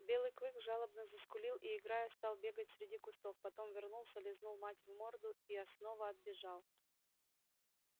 белый клык жалобно заскулил и играя стал бегать среди кустов потом вернулся лизнул мать в морду и снова отбежал